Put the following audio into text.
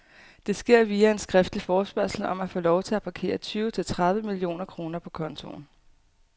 Det sker via en skriftlig forespørgsel om at få lov til at parkere tyve til tredive millioner kroner på kontoen.